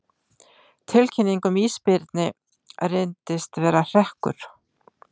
Tilkynning um ísbirni reyndist vera hrekkur